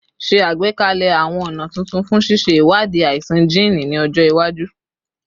Ṣe agbekalẹ awọn ọna tuntun fun ṣiṣe iwadii aisan jiini ni ọjọ iwaju